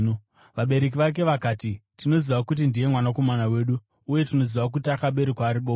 Vabereki vake vakati, “Tinoziva kuti ndiye mwanakomana wedu, uye tinoziva kuti akaberekwa ari bofu.